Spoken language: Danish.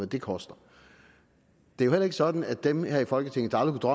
det koster det jo heller ikke sådan at dem her i folketinget der aldrig